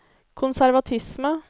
konservatisme